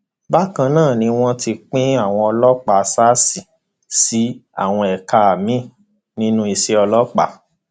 bákan náà ni wọn ti pín àwọn ọlọpàá sars sí àwọn ẹka miín nínú iṣẹ ọlọpàá